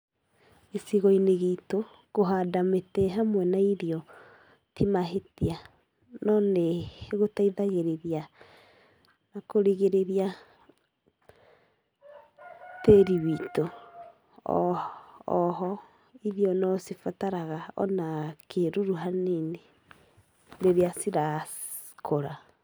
Gĩcigo-inĩ gitũ, kũhanda mĩtĩ hamwe na irio ti mahĩtia. No nĩ gũteithagĩrĩria na kũrigĩrĩria tĩĩri witũ. O ho, irio no cibataraga kĩĩruru hanini rĩrĩa cirakũra.